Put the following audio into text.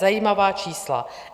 Zajímavá čísla!